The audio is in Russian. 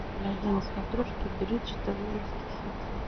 найди на смотрешке бридж тв русский хит